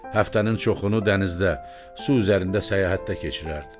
Həftənin çoxunu dənizdə, su üzərində səyahətdə keçirərdi.